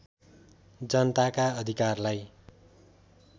जनताका अधिरकारलाई